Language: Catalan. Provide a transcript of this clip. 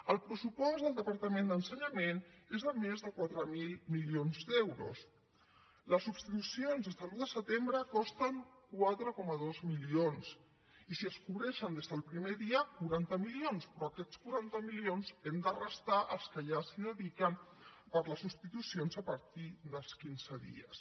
el pressupost del departament d’ensenyament és de més de quatre mil milions d’euros les substitucions des de l’un de setembre costen quatre coma dos milions i si es cobreixen des del primer dia quaranta milions però a aquests quaranta milions hem de restar els que ja s’hi dediquen per a les substitucions a partir dels quinze dies